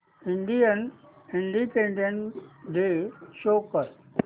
Indian independence day show कर